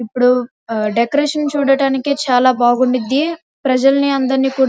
ఇప్పుడు డెకరేషన్ చూడ్డానికి చాలా బాగుంటుంది ప్రజల్ని అందరినీ కూడా --